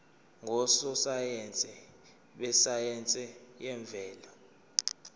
ngososayense besayense yemvelo